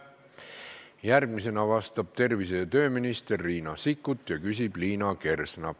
Järgmisena vastab tervise- ja tööminister Riina Sikkut ja küsib Liina Kersna.